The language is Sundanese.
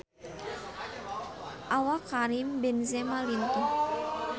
Awak Karim Benzema lintuh